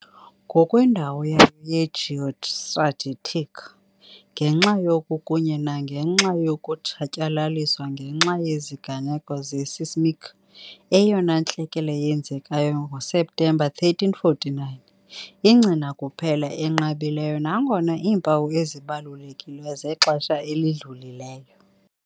ngokwendawo yayo ye-geostrategic, ngenxa yoku, kunye nangenxa yokutshatyalaliswa ngenxa yeziganeko ze-seismic, eyona ntlekele yenzekayo ngoSeptemba 1349, ingcina kuphela enqabileyo nangona iimpawu ezibalulekileyo zexesha elidlulileyo.